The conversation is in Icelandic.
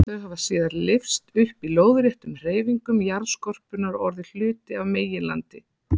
Þau hafa síðar lyfst upp í lóðréttum hreyfingum jarðskorpunnar og orðið hluti af meginlandi.